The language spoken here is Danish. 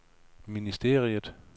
ministeriet